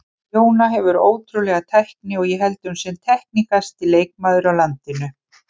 Jóna hefur ótrúlega tækni og ég held hún sé teknískasti leikmaður á landinu.